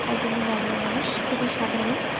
একদমই normal মানুষ। খুবই সাধারণ।